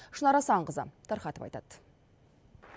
шынар асанқызы тарқатып айтады